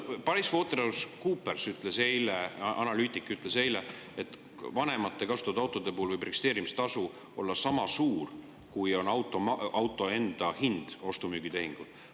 PricewaterhouseCoopersi analüütik ütles eile, et vanemate kasutatud autode puhul võib registreerimistasu olla niisama suur, kui on auto enda hind ostu-müügitehingu puhul.